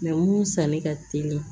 mun sanni ka teli